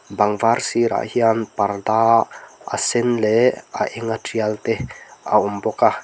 bang var sirah hian parda a sen leh a enga tial te a awm bawk a.